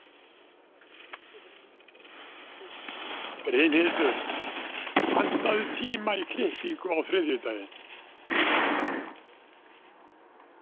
Brynhildur, pantaðu tíma í klippingu á þriðjudaginn.